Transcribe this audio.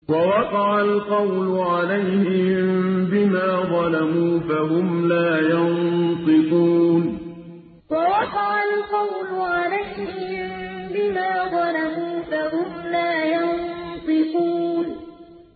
وَوَقَعَ الْقَوْلُ عَلَيْهِم بِمَا ظَلَمُوا فَهُمْ لَا يَنطِقُونَ وَوَقَعَ الْقَوْلُ عَلَيْهِم بِمَا ظَلَمُوا فَهُمْ لَا يَنطِقُونَ